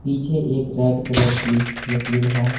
पीछे एक red colour की मशीन है।